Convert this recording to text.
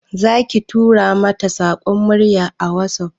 Zaki tura mata saƙon murya a WhatsApp?